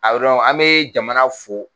Abi dɔnku an bɛ jamana fo